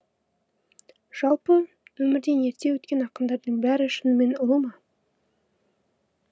жалпы өмірден ерте өткен ақындардың бәрі шынымен ұлы ма